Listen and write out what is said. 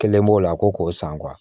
Kelen b'o la ko k'o san